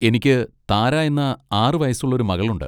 എനിക്ക് താര എന്ന ആറ് വയസ്സുള്ള ഒരു മകളുണ്ട്.